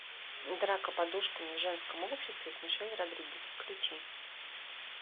драка подушками в женском обществе с мишель родригес включи